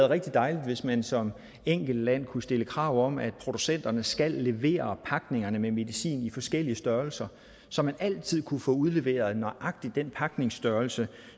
rigtig dejligt hvis man som enkeltland kunne stille krav om at producenterne skal levere pakningerne med medicin i forskellige størrelser så man altid kunne få udleveret nøjagtig den pakningsstørrelse